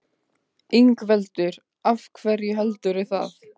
Ingveldur: Af hverju heldurðu það?